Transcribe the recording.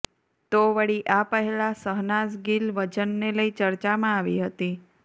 તો વળી આ પહેલાં શહનાઝ ગિલ વજનને લઈ ચર્ચામાં આવી હતી